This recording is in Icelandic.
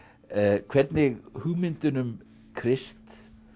hvernig hugmyndin um Krist